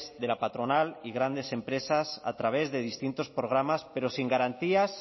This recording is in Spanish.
de la patronal y grandes empresas a través de distintos programas pero sin garantías